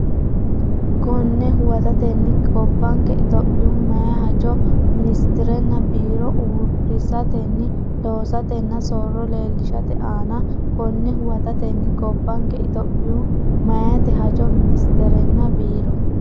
Konne huwatatenni, gobbanke, Itophiyu meyaate hajo ministerenna biiro uurri- satenni loosatenna soorro leellishate aana Konne huwatatenni, gobbanke, Itophiyu meyaate hajo ministerenna biiro.